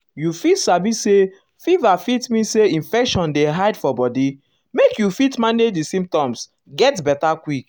you fit sabi say fever fit mean say infection dey hide for body make you fit manage di um symptoms um get beta quick.